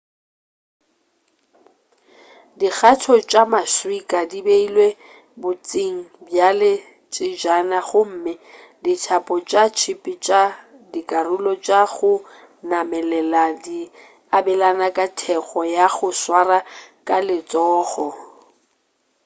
dikgatho tša maswika di beilwe bontšing bjale tsejana gomme dithapo tša tšhipi tša dikarolo tša go namelela di abelana ka thekgo ya go swara ka letsogo